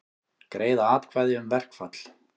Greiða atkvæði um verkfall